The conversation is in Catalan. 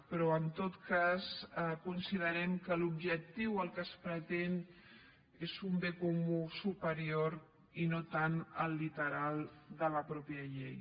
però en tot cas considerem que l’objectiu el que es pretén és un bé comú superior i no tant el literal de la mateixa llei